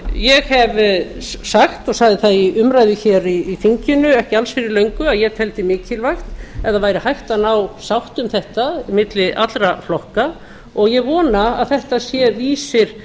ég hef sagt og sagði það í umræðu hér í þinginu ekki allra fyrir löngu að ég teldi mikilvægt ef það væri hægt að ná sátt um þetta milli allra flokka og ég vona að þetta sé vísir